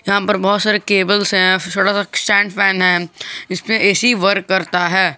यहां पर बहुत सारे केबल्स है छोटा सा स्टैंड फैन है इस पे ए सी वर्क करता है।